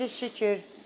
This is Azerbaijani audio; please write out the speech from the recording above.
İndi şükür.